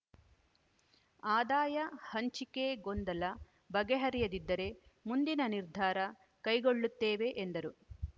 ಆದಾಯ ಹಂಚಿಕೆ ಗೊಂದಲ ಬಗೆಹರಿಯದಿದ್ದರೆ ಮುಂದಿನ ನಿರ್ಧಾರ ಕೈಗೊಳ್ಳುತ್ತೇವೆ ಎಂದರು